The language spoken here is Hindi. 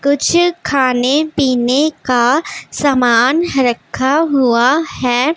कुछ खाने-पीने का समान रखा हुआ है।